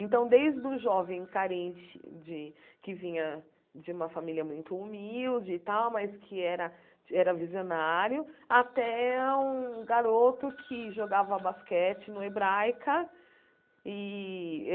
Então, desde o jovem carente de, que vinha de uma família muito humilde e tal, mas que era era visionário, até um garoto que jogava basquete no Hebraica. E